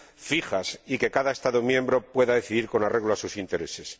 fijas y que cada Estado miembro pueda decidir con arreglo a sus intereses.